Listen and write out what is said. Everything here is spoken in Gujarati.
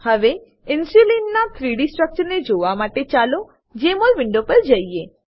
હવે ઇન્સ્યુલીનના 3ડી સ્ટ્રક્ચરને જોવા માટે ચાલો જેમોલ વિન્ડો પર જઈએ